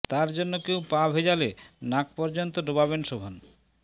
তাঁর জন্য কেউ পা ভেজালে নাক পর্যন্ত ডোবাবেন শোভন